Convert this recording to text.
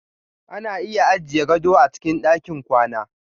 Ana iya ajiye gado a cikin ɗakin kwana.